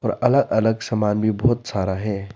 अलग अलग सामान भी बहुत सारा है।